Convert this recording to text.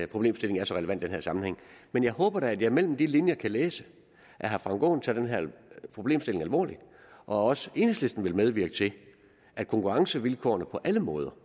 problemstilling er så relevant i den her sammenhæng men jeg håber da at jeg mellem de linjer kan læse at herre frank aaen tager den her problemstilling alvorligt og at også enhedslisten vil medvirke til at konkurrencevilkårene på alle måder